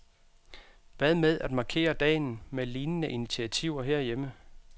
Hvad med at markere dagen med lignende initiativer herhjemme?